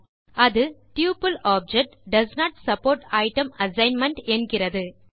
அது double object does not support item assignment என்கிறது